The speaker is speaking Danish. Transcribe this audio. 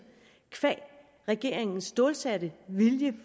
qua regeringens stålsatte vilje